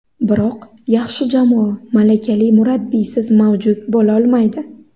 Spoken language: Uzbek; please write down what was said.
Biroq yaxshi jamoa malakali murabbiysiz mavjud bo‘lolmaydi.